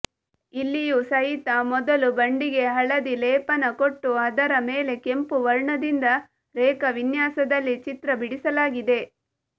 ಇಲ್ಲಿಯೂ ಸಹಿತ ಮೊದಲು ಬಂಡೆಗೆ ಹಳದಿ ಲೇಪನ ಕೊಟ್ಟು ಅದರ ಮೇಲೆ ಕೆಂಪು ವರ್ಣದಿಂದ ರೇಖಾವಿನ್ಯಾಸದಲ್ಲಿ ಚಿತ್ರ ಬಿಡಿಸಲಾಗಿದೆ